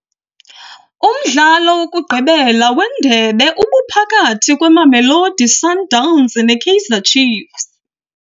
Umdlalo wokugqibela wendebe ubuphakathi kweMamelodi Sundowns neKaizer Chiefs.